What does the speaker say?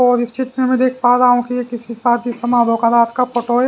और इस चित्र में मैं देख पा रहा हूं कि ये किसी शादी समारोह का रात का फोटो है।